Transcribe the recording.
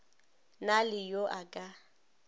na le yo a ka